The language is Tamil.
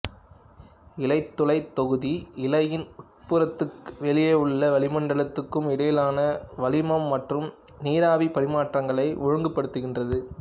இலைத்துளைத் தொகுதி இலையின் உட்புறத்துக்கும் வெளியிலுள்ள வளிமண்டலத்துக்கும் இடையிலான வளிமம் மற்றும் நீராவிப் பரிமாற்றங்களை ஒழுங்குபடுத்துகின்றது